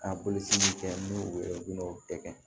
A bolofɛn n'u yɛrɛ u bɛn'o bɛɛ kɛ